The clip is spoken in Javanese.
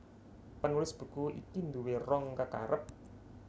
Penulis buku iki nduwé rong kekarep